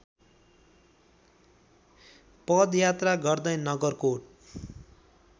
पदयात्रा गर्दै नगरकोट